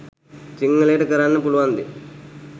සිංහලයට කරන්න පුළුවන් දේ